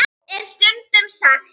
Rúmmál jarðar er því